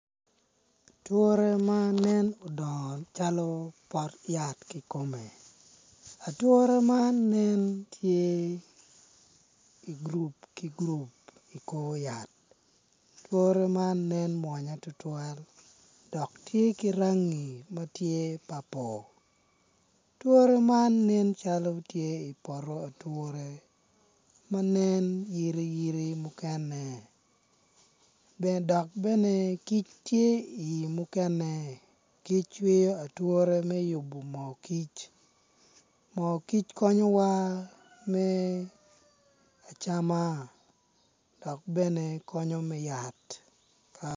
Ature ma nen dongo calo pot yat i kome ature man nen tye igurup ki gurup I kor yat ature man nen mwonya tutwal dok tye ki rangi ma a tye papul ature man nen cali tye i poto ature ma nen yiriyiri mukene dok bene kic tye i mukene kic cwiyo ature me yubo moo kic moo kic konyowa me acama dok bene konyo me yat